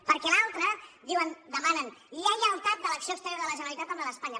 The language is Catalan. perquè l’altra diuen demanen lleialtat de l’acció exterior de la generalitat amb la d’espanya